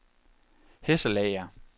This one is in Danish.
Hesselager